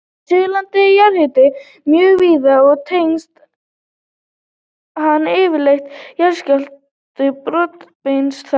Á Suðurlandi er jarðhiti mjög víða og tengist hann yfirleitt jarðskjálftasprungum brotabeltisins þar.